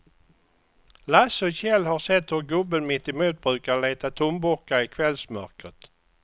Lasse och Kjell har sett hur gubben mittemot brukar leta tomburkar i kvällsmörkret.